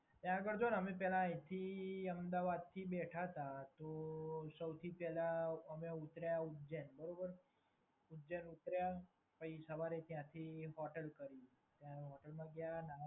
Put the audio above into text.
ત્યાં આગળ જો ને અમે પહેલા અહીથી અમદાવાદથી બેઠા હતા તો સૌથી પહેલા અમે ઉતાર્યા ઉજ્જૈન, બરોબર? ઉજ્જૈન ઉતાર્યા પહિ સવારે ત્યાંથી હોટલ કર્યું ત્યાં હોટલમાં ગયા.